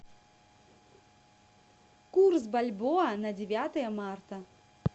курс бальбоа на девятое марта